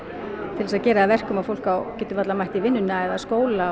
til þess að gera það að verkum að fólk getur varla mætt í vinnuna eða skóla